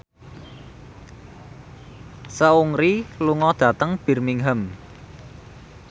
Seungri lunga dhateng Birmingham